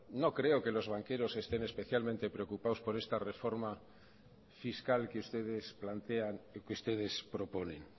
no creo que los banqueros estén especialmente preocupados por esta reforma fiscal que ustedes plantean que ustedes proponen